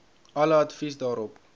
alle advies daarop